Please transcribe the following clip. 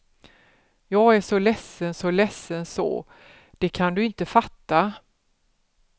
Jag är så ledsen så ledsen så det kan du inte fatta.